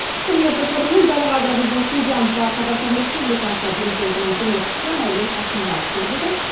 құрметті көрермен дәл қазір біздің студиямызға қазақстан республикасы президентінің көмекшісі мәулен әшімбаев келіп отыр